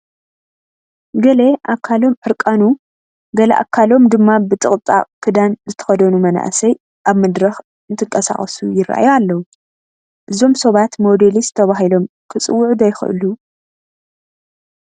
ገለ ኣካሎም ዕርቃኑ ገለ ኣካሎም ድማ ብጥቕጣቕ ክዳን ዝተኸደኑ መናእሰይ ኣብ መድረኽ እንትንቀሳቐዩ ይርአዩ ኣለዉ፡፡ እዞም ሰባት ሞዴሊስት ተባሂሎም ክፅውዑ ዶ ይኽእሉ?